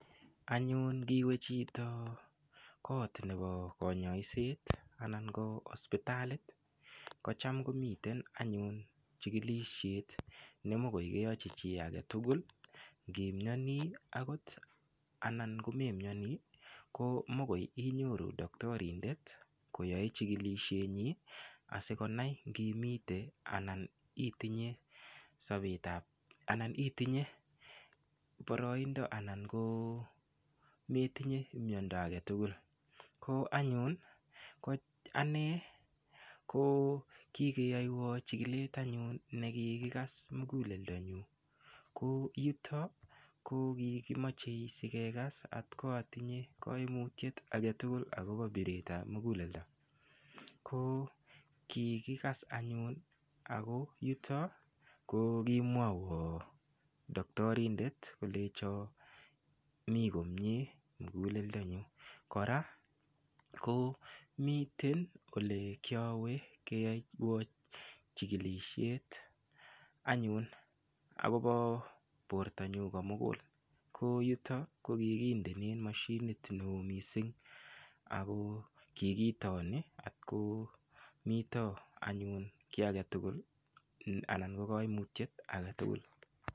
Anyun ngiwe chitoko koot nebo konyoiset anan ko hospitalit kocham komiten anyun chikilishet nemokoi keyochi chii agetugul ngimioni akot anan komemioni ko mokoi inyoru doktorindet koyoe chikilishet nyi asikonai ngimite anan itinye boroindo anan ko metinye miondo age tugul ko anyun ane ko kikeyoywo chikilet anyun nakikikas muguleldo nyu ko yuto ko kikimochei sikekas atko atinye kaimutiet agetugul akobo biret ap muguleldo ko kikikas anyun ako yuto ko kimwawo doktorindet kolecho mii komie muguleldo nyu kora ko miten ole kiawe keyoywo chikilishet anyun akobo bortonyu komugul ko yuto kokikindenen mashinit neo mising ako kikitoni atkomito anyun kiy age tugul anan ko kaimutiet age tugul.